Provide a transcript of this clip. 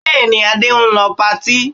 Bẹ́ẹ̀ ni, Adé ń lọ patí